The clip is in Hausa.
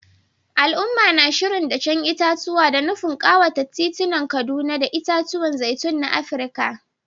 Al’umma na shirin dashen itatuwa, da nufin kawata titunan Kaduna da itatuwan zaitun na Afirka.